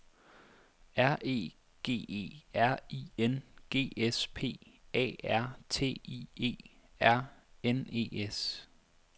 R E G E R I N G S P A R T I E R N E S